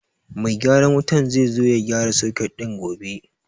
Mai gyaran wutar zai zo ya gyara soket ɗin gobe.